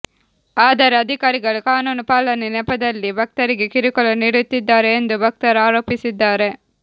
ಆದರೆ ಅಧಿಕಾರಿಗಳು ಕಾನೂನು ಪಾಲನೆ ನೆಪದಲ್ಲಿ ಭಕ್ತರಿಗೆ ಕಿರುಕುಳ ನೀಡುತ್ತಿದ್ದಾರೆ ಎಂದು ಭಕ್ತರ ಆರೋಪಿಸುತ್ತಿದ್ದಾರೆ